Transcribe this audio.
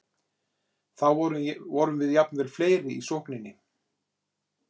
Þá vorum við jafnvel fleiri í sókninni.